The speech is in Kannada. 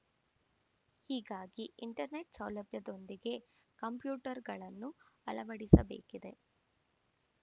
ಹೀಗಾಗಿ ಇಂಟರ್‌ನೆಟ್‌ ಸೌಲಭ್ಯದೊಂದಿಗೆ ಕಂಪ್ಯೂಟರ್‌ಗಳನ್ನು ಅಳವಡಿಸಬೇಕಿದೆ